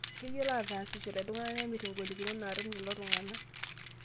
Keyiolo atasishore iltung'ana nemirr ngolikinot naatum lelo tung'ana